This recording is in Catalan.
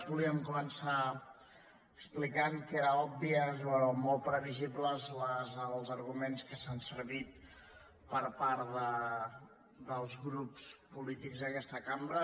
volíem començar explicant que eren obvis o molt previsibles els arguments que han fet servir els grups polítics d’aquesta cambra